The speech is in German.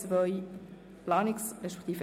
Zentralverwaltung (Massnahme 48.6.2)